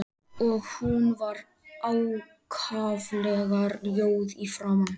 Og hún var ákaflega rjóð í framan.